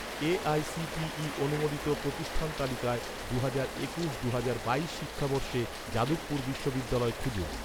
AICTE অনুমোদিত প্রতিষ্ঠান তালিকায়, দুহাজার একুশ দুহাজার বাইশ শিক্ষাবর্ষে যাদবপুর বিশ্ববিদ্যালয় খুঁজুন